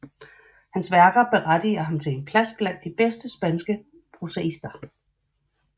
Hans værker berettiger ham til en plads blandt de bedste spanske prosaister